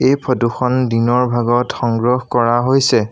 এই ফটো খন দিনৰ ভাগত সংগ্ৰহ কৰা হৈছে।